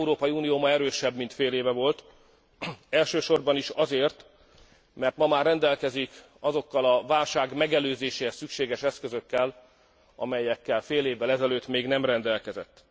Az Európai Unió ma erősebb, mint fél éve volt, elsősorban azért, mert ma már rendelkezik azokkal a válság megelőzéséhez szükséges eszközökkel, amelyekkel fél évvel ezelőtt még nem rendelkezett.